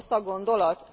Rossz a gondolat?